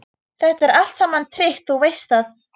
Þetta er allt saman tryggt, þú veist það.